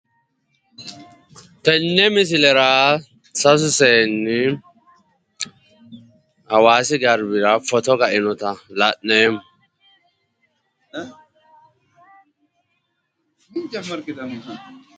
Tenne misilera sasu seenni hawaasi garbira footo kainota la'neemmo.